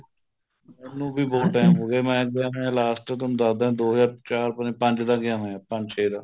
ਮੈਨੂੰ ਵੀ ਬਹੁਤ time ਹੋਗਿਆ ਮੈਂ ਗਿਆ ਹੋਇਆ last ਥੋਨੂੰ ਦੱਸਦਾ ਦੋ ਹਜ਼ਾਰ ਚਾਰ ਪਤਾ ਨੀ ਪੰਜ ਦਾ ਗਿਆ ਹੋਇਆ ਪੰਜ ਛੇ ਦਾ